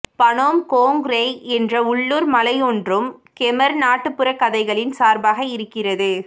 Phnom Kong Rei என்ற உள்ளூர் மலையொன்றும் கெமர் நாட்டுப்புறக் கதைகளின் சார்பாக இருக்கிறது